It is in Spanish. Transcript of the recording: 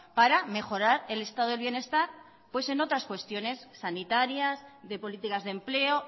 para mejorar el estado del bienestar en otras cuestiones sanitarias de políticas de empleo